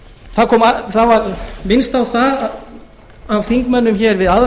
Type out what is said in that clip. það var minnst á það af þingmönnum hér við aðra